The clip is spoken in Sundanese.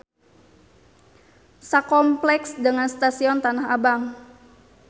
Sakompleks dengan stasion Tanah Abang.